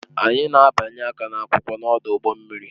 Anyị na-abịanye aka n'akwụkwọ n'ọdụ ụgbọ mmiri